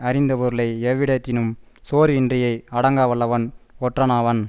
அறிந்தபொருளை எவ்விடத்தினும் சோர்வின்றியே அடக்கவல்லவன் ஒற்றனாவன்